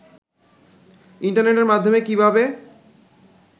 ইন্টারনেটের মাধ্যমে কিভাবে